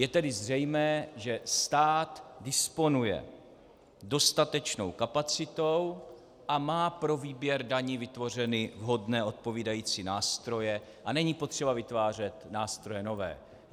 Je tedy zřejmé, že stát disponuje dostatečnou kapacitou a má pro výběr daní vytvořeny vhodné odpovídající nástroje a není potřeba vytvářet nástroje nové.